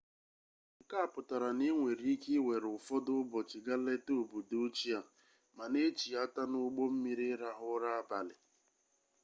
nke a pụtara na i nwere ike ịwere ụfọdụ ụbọchị gaa leta obodo ochie a ma na-echighata n'ụgbọ mmiri ịrahụ ụra abalị